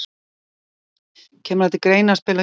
Kemur það til greina að spila á Íslandi?